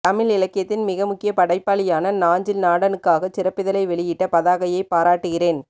தமிழ் இலக்கியத்தின் மிகமுக்கியப் படைப்பாளியான நாஞ்சில் நாடனுக்காகச் சிறப்பிதழை வெளியிட்ட பதாகையைப் பாராட்டுகிறேன்